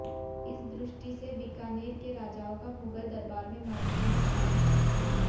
इस दृष्टि से बीकानेर के राजाओं का मुगल दरबार में महत्वपूर्ण स्थान था